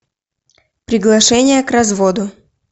приглашение к разводу